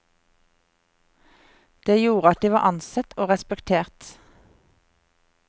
Det gjorde at de var ansett og respektert.